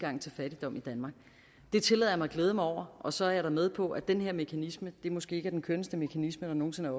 fattigdom i danmark det tillader jeg mig at glæde mig over og så er jeg da med på at den her mekanisme måske ikke er den kønneste mekanisme der nogen sinde